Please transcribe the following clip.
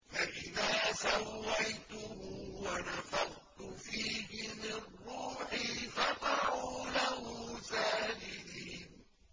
فَإِذَا سَوَّيْتُهُ وَنَفَخْتُ فِيهِ مِن رُّوحِي فَقَعُوا لَهُ سَاجِدِينَ